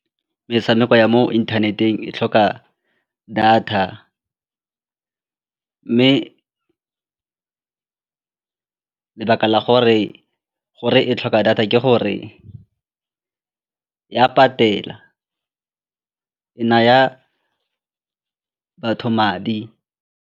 Metshameko ya mo internet-eng e tlhoka data mme lebaka la gore gore e tlhoka data ke gore e a patela, e naya batho madi.